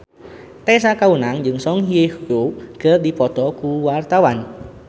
Tessa Kaunang jeung Song Hye Kyo keur dipoto ku wartawan